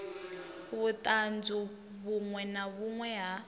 vhuṱanzu vhuṅwe na vhuṅwe ha